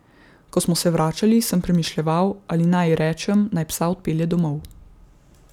Ko smo se vračali, sem premišljeval, ali naj ji rečem, naj psa odpelje domov.